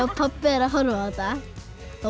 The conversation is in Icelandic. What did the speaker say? pabbi er að horfa á þetta þá